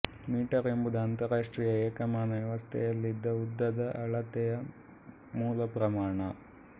metre ಎಂಬುದು ಅಂತರರಾಷ್ಟ್ರೀಯ ಏಕಮಾನ ವ್ಯವಸ್ಥೆಯಲ್ಲಿ ಉದ್ದದ ಅಳತೆಯ ಮೂಲ ಪ್ರಮಾಣ